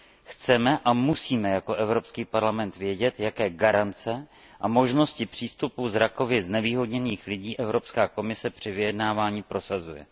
Chceme a musíme jako Evropský parlament vědět, jaké garance a možnosti přístupu zrakově znevýhodněných lidí Evropská komise při vyjednávání prosazuje.